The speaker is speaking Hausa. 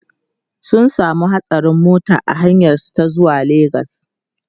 sun samu hatsarin mota a hanyar su ta zuwa legas